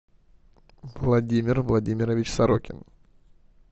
владимир владимирович сорокин